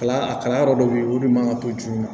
Kala kala yɔrɔ dɔ bɛ ye o de man kan to di ma